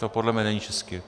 To podle mě není česky.